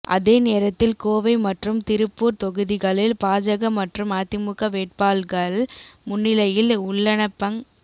அதே நேரத்தில் கோவை மற்றும் திருப்பூர் தொகுதிகளில் பாஜக மற்றும் அதிமுக வேட்பாள்கள் முன்னிலையில் உள்ளனப்ங